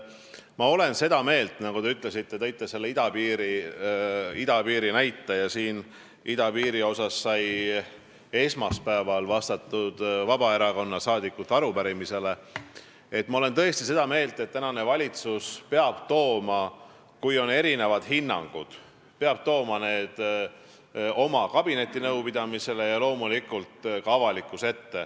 Ma olen seda meelt – te tõite selle idapiiri näite ja idapiiri kohta sai esmaspäeval vastatud Vabaerakonna arupärimisele –, et kui on erinevad hinnangud, siis valitsus peab tooma need oma kabinetinõupidamisele ja loomulikult ka avalikkuse ette.